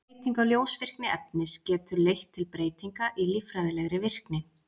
Breyting á ljósvirkni efnis getur leitt til breytinga í líffræðilegri virkni.